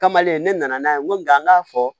Kamalen ne nana n'a ye n ko nka an k'a fɔ